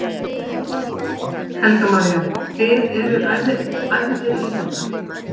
Helga María: Þið eruð æfðir í þetta?